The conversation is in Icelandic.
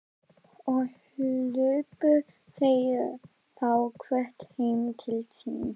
Og hlupu þau þá hvert heim til sín.